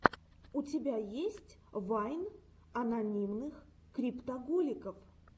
у тебя есть вайн анонимных криптоголиков